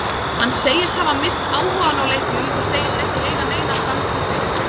Hann segist hafa misst áhugann á leiknum og segist ekki eiga neina framtíð fyrir sér.